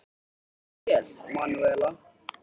Þú stendur þig vel, Manúella!